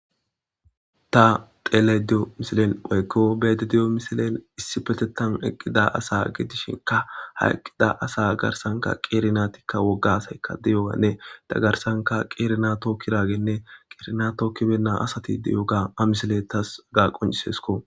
ta teele de7o misilen oykko beedi diyo misilen issi petetan eqqida asa gidishinka ha eqqida asa garsanka qeerinatikka woggasayka di7owanne ta garsanka qeerina tookki raagenne qeerina tookkibenna asati diyoga amisile tas gaa qoncisesko